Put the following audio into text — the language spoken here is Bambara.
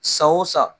San o san